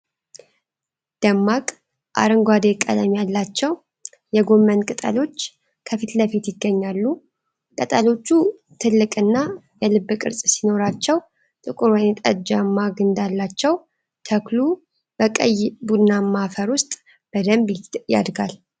ደማቅ አረንጓዴ ቀለም ያላቸው የጎመን ቅጠሎች ከፊት ለፊት ይገኛሉ። ቅጠሎቹ ትልቅና የልብ ቅርጽ ሲኖራቸው ጥቁር ወይንጠጃማ ግንድ አላቸው። ተክሉ በቀይ ቡናማ አፈር ውስጥ በደንብ ያድጋል።